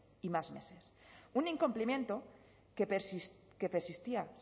y más meses un incumplimiento que persistía